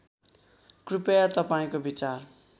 कृपया तपाईँको विचार